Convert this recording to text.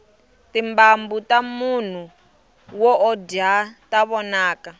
timbambu tamunhu wo o dya ta vonaka